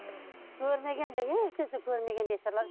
көрмеген де ешнәрсе көрмеген бейшаралар